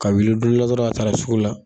Ka wuli don dɔ la dɔrɔn a taara sugu la.